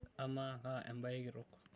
amaa kaa embae kitok